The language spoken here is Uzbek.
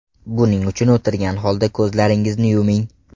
Buning uchun o‘tirgan holda ko‘zlaringizni yuming.